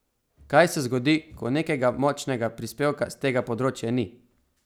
Kaj se zgodi, ko nekega močnega prispevka s tega področja ni?